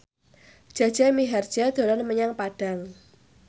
Jaja Mihardja dolan menyang Padang